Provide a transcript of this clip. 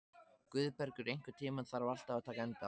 Guðbergur, einhvern tímann þarf allt að taka enda.